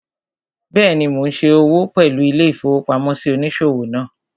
Bẹ́ẹ̀ni, mo n ṣe òwò pẹ̀lú ilé-ìfowópamósí òníṣòwò náà